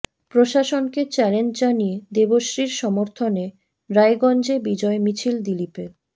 প্রশাসনকে চ্যালেঞ্জ জানিয়ে দেবশ্রীর সমর্থনে রায়গঞ্জে বিজয় মিছিল দিলীপের